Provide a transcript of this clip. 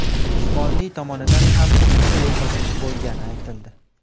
Usmonli tomonidan ham shuncha yo‘qotish bo‘lgani aytildi.